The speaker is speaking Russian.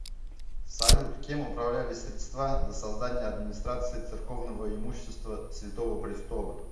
салют кем управлялись средства до создания администрации церковного имущества святого престола